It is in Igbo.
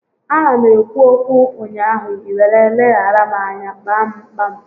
A na m ekwu okwu ụnyaahụ, ị were leghara m anya kpa m kpam